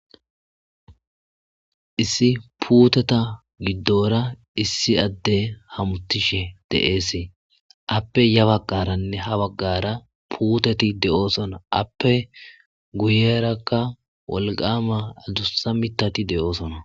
issi puuteta giddora issi adde hamutishe de'es appe ya bagqaranne ha baggara puuteti de7oosona appe guyerakka wolqama adussa mitati de7oosona